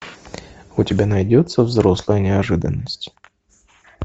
у тебя найдется взрослая неожиданность